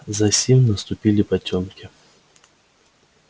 засим наступили потёмки